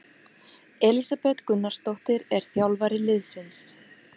Elísabet Gunnarsdóttir er þjálfari liðsins.